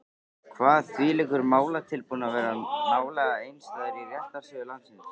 Kvað þvílíkur málatilbúnaður vera nálega einstæður í réttarsögu landsins.